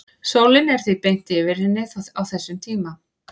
sólin er því beint yfir henni á þessum tíma